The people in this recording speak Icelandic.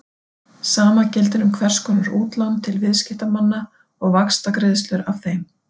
Sama gildir um hvers konar útlán til viðskiptamanna og vaxtagreiðslur af þeim.